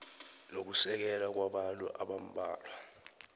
nokusekela kwabantu abambalwa